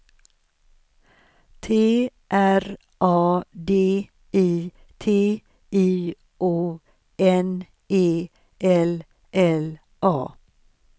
T R A D I T I O N E L L A